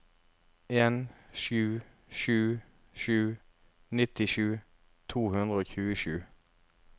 en sju sju sju nittisju to hundre og tjuesju